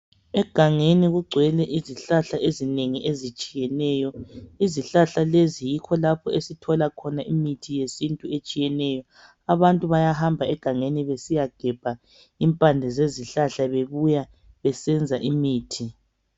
Egangeni kugcwele izihlahla ezinengi ezitshiyeneyo. Izihlahla lezi yikho lapho esithola khona imithi yesintu etshiyeneyo. Abantu bayahamba egangeni besiyagebha impande zezihlahla bebuya besenza imithi.